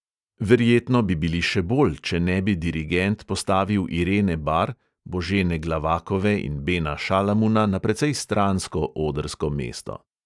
Verjetno bi bili še bolj, če ne bi dirigent postavil irene bar, božene glavakove in bena šalamuna na precej stransko odrsko mesto.